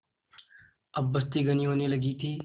अब बस्ती घनी होने लगी थी